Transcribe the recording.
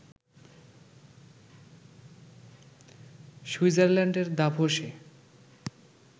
সুইটজারল্যান্ডের দাভোসে